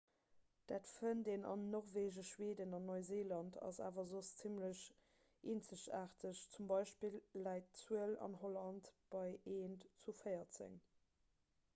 dat fënnt een an norwegen schweden an neuseeland ass awer soss zimmlech eenzegaarteg z. b. läit d'zuel an holland bei eent zu véierzeg